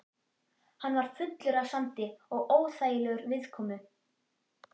Hann var fullur af sandi og óþægilegur viðkomu.